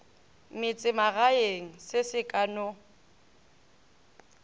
metsemagaeng se se ka no